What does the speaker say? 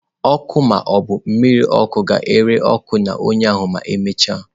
Ọkụ ma ọ bụ mmiri ọkụ ga-ere ọkụ na ọnya ma emechaa.